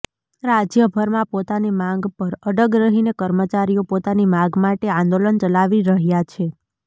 રાજ્યભરમાં પોતાની માંગ પર અડગ રહીને કર્મચારીઓ પોતાની માગ માટે આંદોલન ચલાવી રહ્યા છે